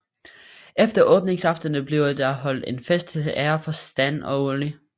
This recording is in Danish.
Efter åbningsaftenen bliver der holdt en fest til ære for Stan og Ollie